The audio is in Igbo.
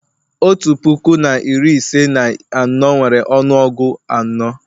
otu puku na iri ise na anọ nwere ọnụọgụ anọ